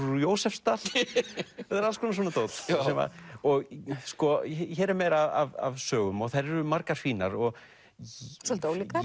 úr Jósepsdal það er alls konar svona dót hér er meira af sögum og þær eru margar fínar svolítið ólíkar